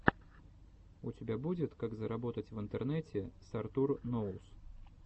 у тебя будет как заработать в интернете с артур ноус